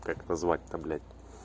как назвать-то блять